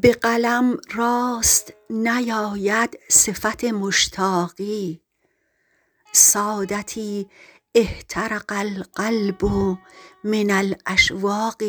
به قلم راست نیاید صفت مشتاقی سادتی احترق القلب من الاشواق